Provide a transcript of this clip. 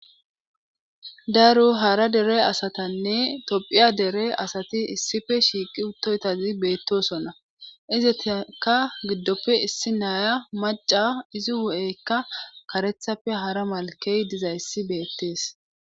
daro hara dere asatanne tophiya dere asati issife shiiqi uttoytazi beettosonna izeteka giddoppe issi naaya maca izi wu7eykka karethappe hara malkey dizayssi beettees